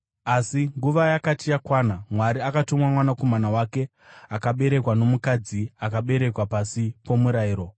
Asi nguva yakati yakwana, Mwari akatuma Mwanakomana wake, akaberekwa nomukadzi, akaberekwa pasi pomurayiro,